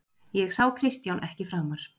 Ég sá Kristján ekki framar.